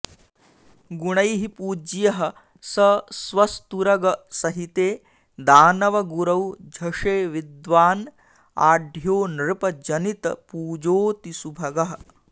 गुणैः पूज्यः स स्वस्तुरग सहिते दानव गुरौ झषे विद्वान् आढ्यो नृप जनित पूजोऽतिसुभगः